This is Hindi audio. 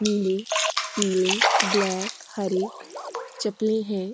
नीले पीले ब्लैक हरे चपले हैं।